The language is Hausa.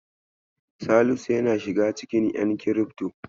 Salisu ya shiga cikin ƴan kirifto.